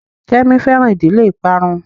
Kemi fẹran ìdílé ìparun